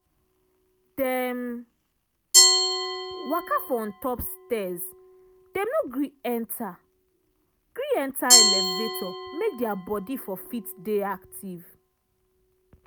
dem waka for on top stairsdem no gree enta gree enta elevator make dia body for fit dey active.